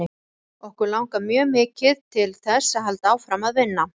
Okkur langar mjög mikið til þess að halda áfram að vinna.